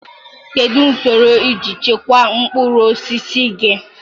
Kedu usoro iji echekwaa mkpụrụ osisi gị?